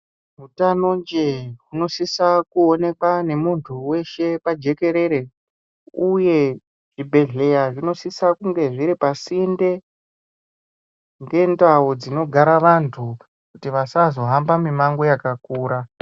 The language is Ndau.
Utanonje hunosisa kuonekwa nemundu weshe pajikerere uye zvibhehleya zvinosisa kunge zviri pasinde ngendau dzinogara vandu kuitira kuti vandu vasazohamba mumango wakakura